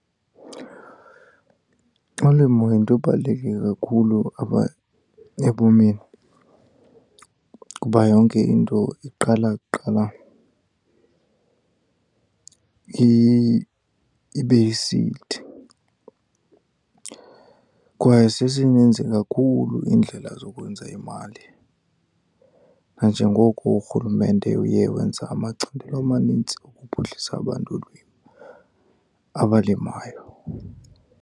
Ulimo yinto ebaluleke kakhulu apha ebomini kuba yonke into iqala kuqala ibe yi-seed. Kwaye sezininzi kakhulu iindlela zokwenza imali, nanjengoko urhulumente uye wenza amacandelo amanintsi ukuphuhlisa abantu abalimayo.